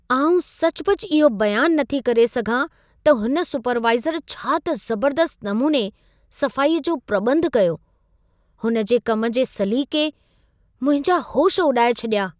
आउं सचुपचु इहो बयानु न थी करे सघां त हुन सुपरवाइज़र छा त ज़बर्दस्तु नमूने सफ़ाईअ जो प्रॿंधु कयो! हुन जे कम जे सलीक़े मुंहिंजा होश उॾाए छॾिया।